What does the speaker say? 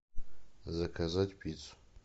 заказать пиццу